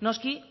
noski